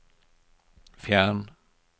fjern